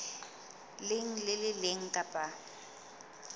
leng le le leng kapa